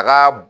A ka